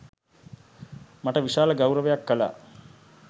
මට විශාල ගෞරවයක් කළා